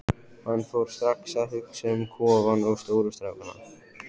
Hann fór strax að hugsa um kofann og stóru strákana.